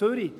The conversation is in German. Zürich: